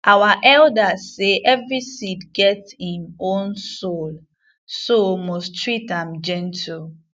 our elders say every seed get him own soul so must treat am gentle